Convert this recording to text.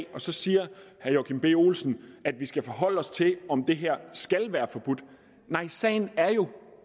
og så siger herre joachim b olsen at vi skal forholde os til om det her nej sagen er jo